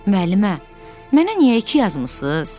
Müəllimə, mənə niyə iki yazmısınız?